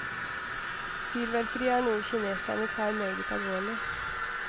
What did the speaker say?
Fyrverkeri er noe kinesere tar meget alvorlig.